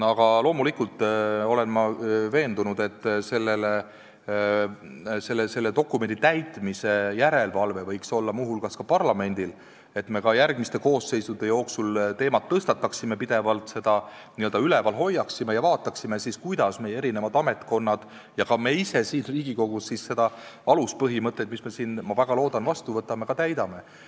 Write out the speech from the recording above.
Aga loomulikult olen ma veendunud, et selle dokumendi täitmise järelevalve võiks olla muu hulgas parlamendil, et me ka järgmiste koosseisude ajal teemat pidevalt tõstataksime, seda n-ö üleval hoiaksime ja vaataksime siis, kuidas meie ametkonnad ja ka meie ise siin Riigikogus neid aluspõhimõtteid, mille me siin – seda ma väga loodan – vastu võtame, ka täidame.